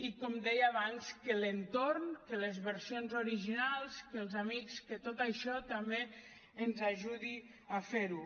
i com deia abans que l’entorn que les versions originals que els amics que tot això també ens ajudi a fer ho